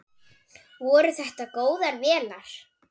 Voru þetta góðar vélar?